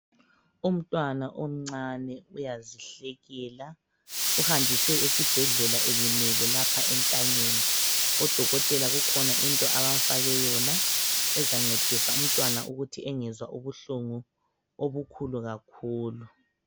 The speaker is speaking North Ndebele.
Umntwana omncane uyazihlekela uhanjiswe esibhedlela elimele lapha entanyeni, odokotela kukhona into abamfake yona ezancedisa umntwana ukuthi engezwa ubuhlungu obukhulu kakhulu.